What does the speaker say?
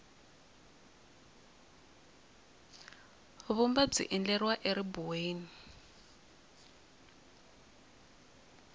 vumba byi endleriwa eribuweni